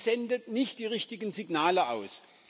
die sendet nicht die richtigen Signale aus.